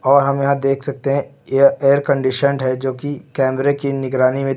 और हम यहां देख सकते हैं यह एयर कंडीशन्ड है जो की कैमरे की निगरानी में--